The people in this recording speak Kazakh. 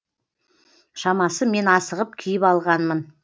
шамасы мен асығып киіп алғанмын